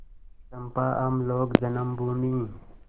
चंपा हम लोग जन्मभूमि